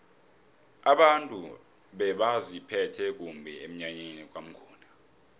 abantu bebaziphethe kumbi emnyanyeni kwamnguni